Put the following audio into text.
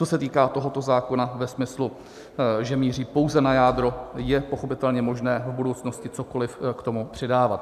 Co se týká tohoto zákona ve smyslu, že míří pouze na jádro, je pochopitelně možné v budoucnosti cokoliv k tomu přidávat.